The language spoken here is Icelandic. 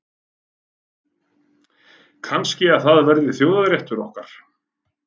Kannski það verði þjóðarréttur okkar.